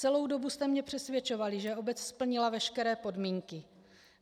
Celou dobu jste mě přesvědčovali, že obec splnila veškeré podmínky.